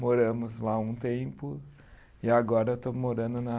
Moramos lá um tempo e agora eu estou morando na